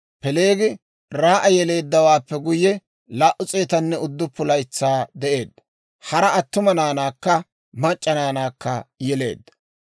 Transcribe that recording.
Peeleegi Raa'a yeleeddawaappe guyye, 209 laytsaa de'eedda; hara attuma naanaakka mac'c'a naanaakka yeleedda.